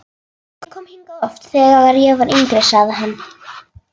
Ég kom hingað oft, þegar ég var yngri sagði hann.